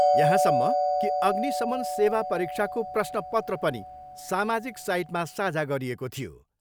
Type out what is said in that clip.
यहाँसम्म कि अग्निशमन सेवा परीक्षाको प्रश्न पत्र पनि सामाजिक साइटमा साझा गरिएको थियो।